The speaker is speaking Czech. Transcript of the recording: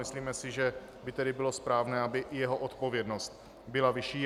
Myslíme si, že by tedy bylo správné, aby i jeho odpovědnost byla vyšší.